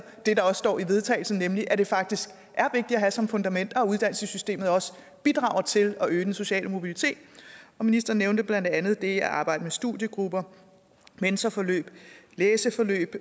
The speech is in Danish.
det der også står i vedtagelse nemlig at det faktisk er vigtigt at have som fundament og at uddannelsessystemet også bidrager til at øge den sociale mobilitet ministeren nævnte blandt andet det at arbejde med studiegrupper mentorforløb læseforløb